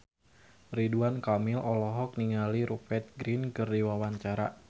Ridwan Kamil olohok ningali Rupert Grin keur diwawancara